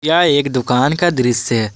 यह एक दुकान का दृश्य है।